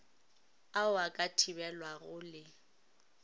ao a ka thibelwago le